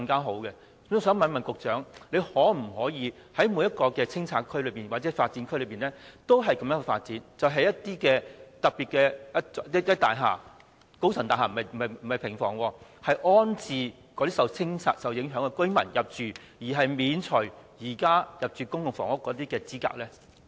我想問局長，當局可否在每個清拆或發展區也採取這種做法，就是興建一些特別的高層大廈而不是平房，以安置受清拆影響的居民，以及豁免他們符合現時入住公共房屋的資格呢？